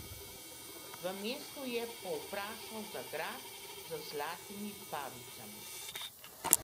V mestu je povprašal za grad z zlatimi pavicami.